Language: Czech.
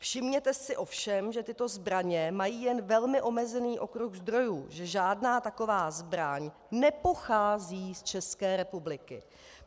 Všimněte si ovšem, že tyto zbraně mají jen velmi omezený okruh zdrojů, že žádná taková zbraň nepochází z České republiky.